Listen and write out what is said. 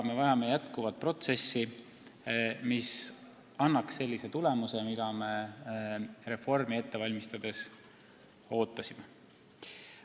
Me vajame protsessi jätkumist, mis annaks sellise tulemuse, nagu me reformi ette valmistades ootasime.